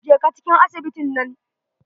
Jeka cikin asibitin nan.